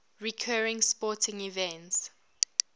recurring sporting events